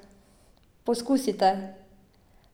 Poskusite!